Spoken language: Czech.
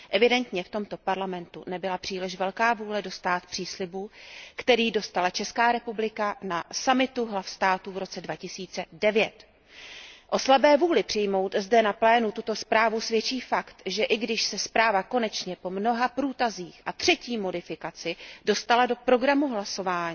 Evidentně v tomto parlamentu nebyla příliš velká vůle dostát příslibu, který dostala Česká republika na summitu hlav států v roce 2009. O slabé vůli přijmout zde na plénu tuto zprávu svědčí fakt, že i když se zpráva konečně po mnoha průtazích a třetí modifikaci dostala do programu hlasování,